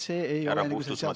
Härra Puustusmaa!